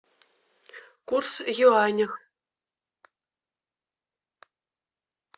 курс в юанях